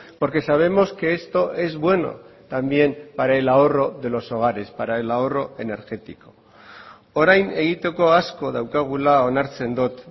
porque sabemos que esto es bueno también para el ahorro de los hogares para el ahorro energético orain egiteko asko daukagula onartzen dut